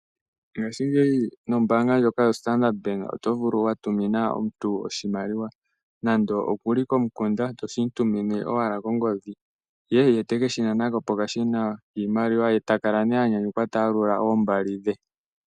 Ngashingeyi mombaanga ndyoka yaStandard bank oto vulu wa tumina omuntu oshimaliwa , nando oku li komukunda , toshi mu tumine owala kongodhi. Ye teke shinana ko pokashina kiimaliwa. Ye taka la nee anyanyukwa ta yalula oombali dhe.